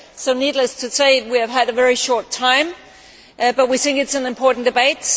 So, needless to say, we have had a very short time, but we think it is an important debate